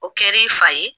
O kɛ l'i fa ye